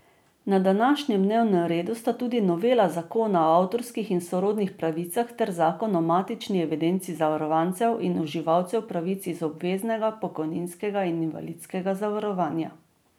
Na današnjem dnevnem redu sta tudi novela zakona o avtorskih in sorodnih pravicah ter zakon o matični evidenci zavarovancev in uživalcev pravic iz obveznega pokojninskega in invalidskega zavarovanja.